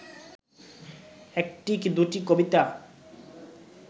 একটি কি দুটি কবিতা